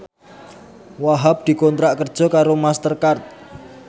Wahhab dikontrak kerja karo Master Card